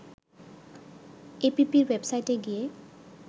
এপিপির ওয়েবসাইটে গিয়ে